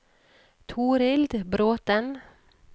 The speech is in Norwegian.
Torild Bråten